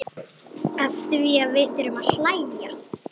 Afþvíað við þurfum að hlæja.